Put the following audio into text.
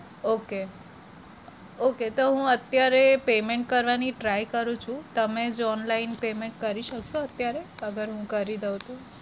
Okay okay તો હું અત્યારે payment કરવની try કરું છું. તમે જો online payment કરી શકશો અત્યારે? અગર હું કરી દઉં તો?